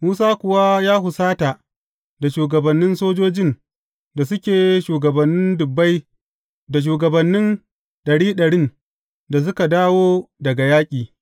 Musa kuwa ya husata da shugabannin sojojin da suke shugabannin dubbai da shugabannin ɗari ɗarin da suka dawo daga yaƙi.